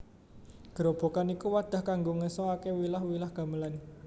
Grobogan iku wadah kanggo ngeso ake wilah wilah gamelan